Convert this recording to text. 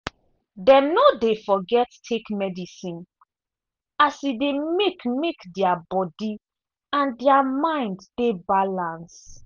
dem no dey forget take medicine as e dey make make dia body and dia mind dey balance.